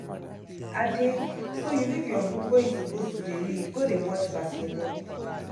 ade so you leave your book wey you suppose to dey read go dey watch basketball